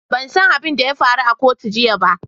Ban san abin da ya faru a kotu jiya ba.